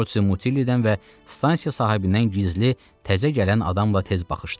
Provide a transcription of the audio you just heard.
Portsi Mutillidən və stansiya sahibindən gizli təzə gələn adamla tez baxışdılar.